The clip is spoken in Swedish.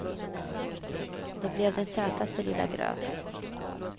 Det blev den sötaste lilla gröt.